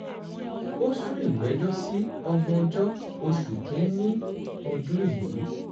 ó sún ìgbẹ́jọ́ sí ògbóńjọ oṣù kín-ín-ní ọdún yìí